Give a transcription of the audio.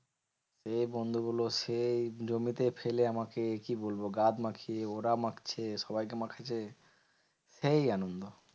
দিয়ে বন্ধুগুলো সেই জমিতে ফেলে আমাকে, কি বলবো? গাদ মাখিয়ে ওরা মাখছে সবাই কে মাখাচ্ছে, সেই আনন্দ।